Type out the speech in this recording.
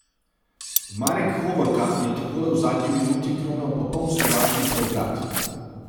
Marek Hovorka je takole v zadnji minuti kronal popoln slovaški preobrat.